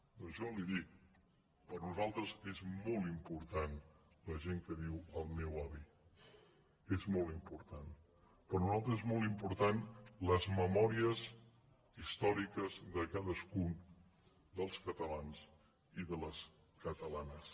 doncs jo li dic per a nosaltres és molt important la gent que diu el meu avi és molt important per a nosaltres són molt importants les memòries històriques de cadascun dels catalans i de les catalanes